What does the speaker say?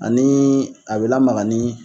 Ani a bɛ lamaga ni